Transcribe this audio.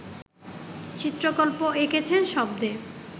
চিত্রকল্প এঁকেছেন শব্দে